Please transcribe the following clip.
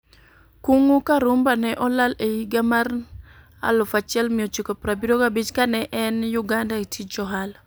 Kung'u Karumba ne olal e higa mar 1975, ka ne en Uganda e tij ohala.